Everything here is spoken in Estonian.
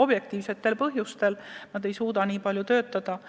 objektiivsetel põhjustel: nad ei suuda kuigi palju töötada.